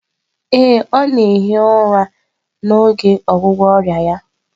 Ee, ọ na-ehi ụra n'oge ọgwụgwọ ọrịa ya